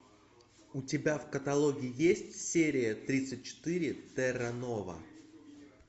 у тебя в каталоге есть серия тридцать четыре терра нова